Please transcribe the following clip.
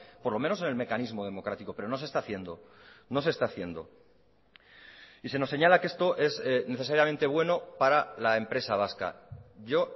por lo menos en el mecanismo democrático pero no se está haciendo no se está haciendo y se nos señala que esto es necesariamente bueno para la empresa vasca yo